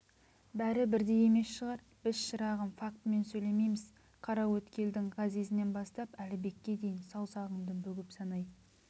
бәрі бірдей емес шығар біз шырағым фактымен сөйлейміз қараөткелдің ғазизінен бастап әлібекке дейін саусағыңды бүгіп санай